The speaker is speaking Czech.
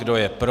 Kdo je pro?